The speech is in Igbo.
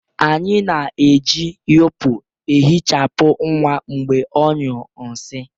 Anyị na-eji yipu ehichapụ nwa mgbe ọ nyuo nsi